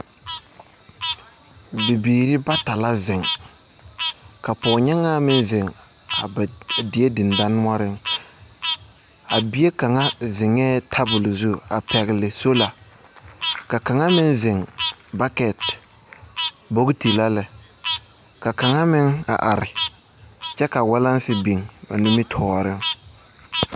Bibiire bata la zeŋ ka pɔɔnyaŋaa meŋ zeŋ a die deŋdanoɔreŋ a bie kaŋa zeŋɛɛ tabol zu pɛgle sola ka kaŋa meŋ zeŋ bakɛt bogiti la lɛ ka kaŋa meŋ a are kyɛ ka walaŋse biŋ o nimitooreŋ.